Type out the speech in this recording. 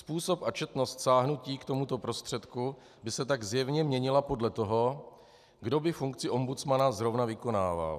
Způsob a četnost sáhnutí k tomuto prostředku by se tak zjevně měnila podle toho, kdo by funkci ombudsmana zrovna vykonával.